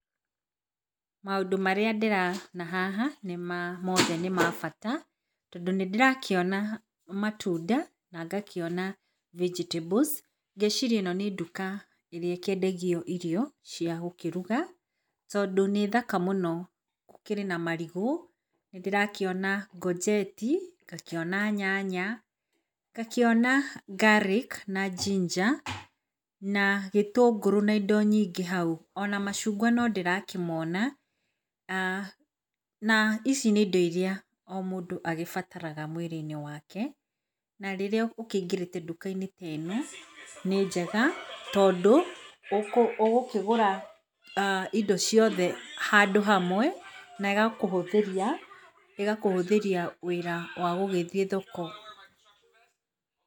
Maũndũ marĩa ndĩrona haha mothe nĩmabata tondũ nĩndĩrakĩona matunda na ngakĩona vegetables ngeciria ĩno nĩ nduka ĩkĩendagio irio cia gũkĩruga tondũ, nĩthaka mũno gũkĩrĩ na marigũ, nĩndĩrakĩona ngonjeti ,ngakĩona nyanya, ngakĩona garlic na ginger na gĩtũngũrũ na indo nyingĩ hau ona macungwa nondĩrakĩmona, na ici nĩ indo ĩrĩa mũndũ agĩbataraga mwĩrĩ -inĩ wake, na rĩrĩa ũkĩingĩrĩte nduka -inĩ ta ĩno nĩ njega tondũ ũgũkĩgũra indo ciothe handũ hamwe na ĩgakũhũtheria wĩra wa gũgĩthiĩ thoko.